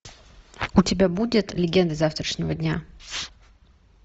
у тебя будет легенды завтрашнего дня